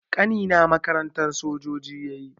Ƙanina makarantar sojoji yayi